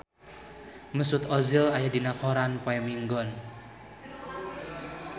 Mesut Ozil aya dina koran poe Minggon